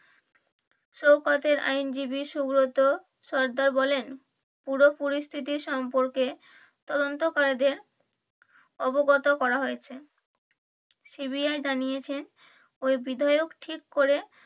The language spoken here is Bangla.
শোওকতের আইনজীবী সুব্রত সর্দার বলেন পুরোপুরি স্থিতি সম্পর্কে তদন্তকারীদের অবগত করা হয়েছে CBI জানিয়েছেন ঐ বিধায়ক ঠিক করে